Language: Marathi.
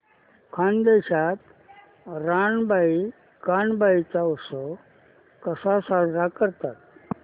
खानदेशात रानबाई कानबाई चा उत्सव कसा साजरा करतात